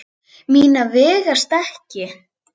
Mínar vegast ekki.